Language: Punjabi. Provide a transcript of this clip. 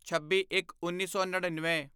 ਛੱਬੀਇੱਕਉੱਨੀ ਸੌ ਨੜੀਨਵੇਂ